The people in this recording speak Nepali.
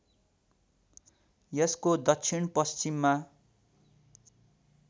यसको दक्षिण पश्चिममा